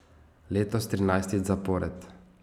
Letos trinajstič zapored.